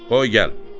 Qoy gəl!